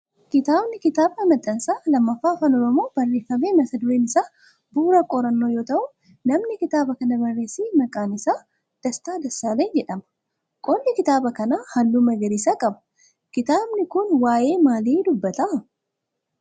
Kitaabni kitaaba maxxansa lammaffaa afaan oromoo barreeffamee mata dureen isaa Bu'uura qorannoo yoo ta'u namni kitaaba kana barreesse maqaan isaa Destaa Dassaaleny jedhama. qolli kitaaba kana halluu magariisa qaba. kitaabni kun waayee maalii dubata?